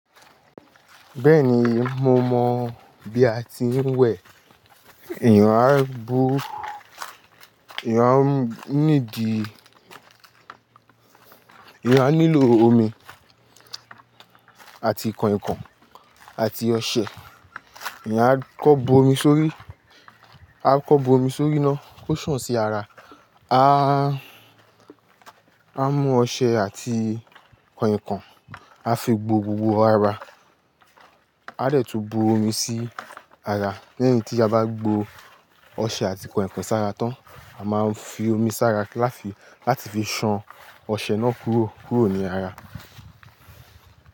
Bẹ́ẹ̀ni, mo mọ̀ bí a ti ń wẹ̀. Eyàn á bu, eyàn á nídìí, eyàn á nílò omi àti kànkàn àti ọṣẹ. Eyàn á kọ́ bo omi sórí, á kọ́ bo omi sórí ná kó san sí ara, á, á mú ọṣẹ àti kànkàn, á fi gbo gbogbo ara, á de tún bu omi sí ara. Lẹ́yìn tí a bá gbó ọṣẹ àti kànkàn sára tán, a máa ń fi omi sára láti fi ṣan ọṣẹ náà kúrò, kúrò ní ara.